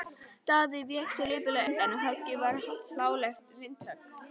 Daði vék sér lipurlega undan og höggið varð hlálegt vindhögg.